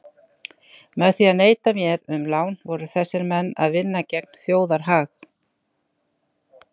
Með því að neita mér um lán voru þessir menn að vinna gegn þjóðarhag.